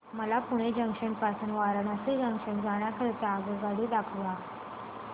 मला पुणे जंक्शन पासून वाराणसी जंक्शन जाण्या करीता आगगाडी दाखवा